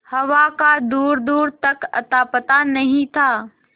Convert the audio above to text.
हवा का दूरदूर तक अतापता नहीं था